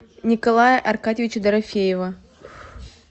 николая аркадьевича дорофеева